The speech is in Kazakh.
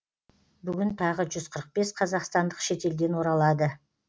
бүгін тағы жүз қырық бес қазақстандық шетелден оралады